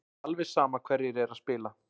Alveg sama hverjir eru að spila.